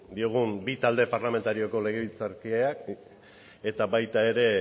diogun bi talde parlamentarioko legebiltzarkideak eta baita ere